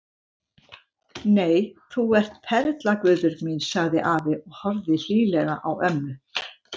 Nei, þú ert perla Guðbjörg mín sagði afi og horfði hlýlega á ömmu.